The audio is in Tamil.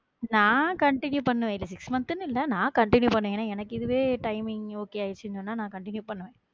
நான் continue பண்ணுவேன் six months னு இல்ல நான் continue பண்ணுவேன் ஏன்னா எனக்கு இதுவே timingokay ஆயிடுச்சுன்னு சொன்னா நா continue பண்ணுவேன்